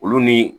Olu ni